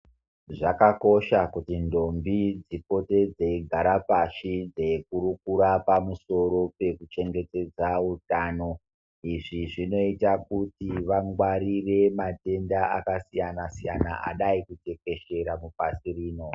Zvakakosha kuti ntombi dzipote dzeyigara pashi, dzeyikurukura pamusoro pekuchengetedza utano, izvi zvinoyita kuti vangwarire matenda akasiyana-siyana adayi kutekeshera mupasi rino.